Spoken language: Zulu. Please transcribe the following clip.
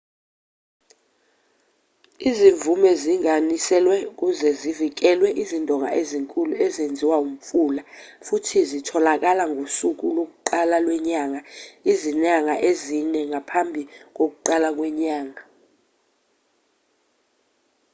izimvume zinginganiselwe ukuze kuvikelwe izindonga ezinkulu ezenziwa umfula futhi zitholakala ngokusuku lokuqala lwenyanga izinyanga ezine ngaphambi kokuqala kwenyanga